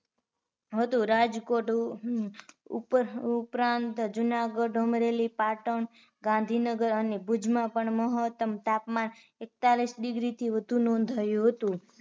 હતુ રાજકોટ ઉપરાંત જૂનાગઢ, અમરેલી, પાટણ, ગાંધીનગર અને ભુજ માં પણ મહત્તમ તાપમાન એક તાલીસ degree થી વધુ નોંધાયુ હતુ